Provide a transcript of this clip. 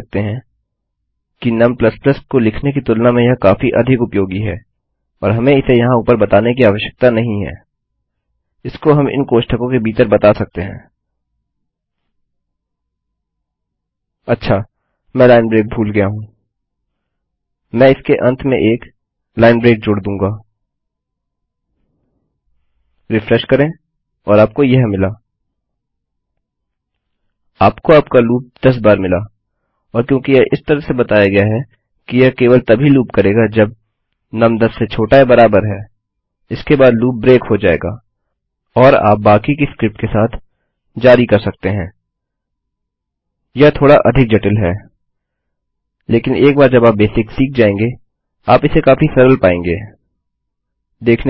देखने